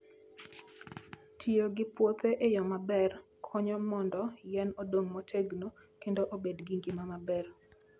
Tiyo gi puothe e yo maber konyo mondo yien odong motegno kendo obed gi ngima maber.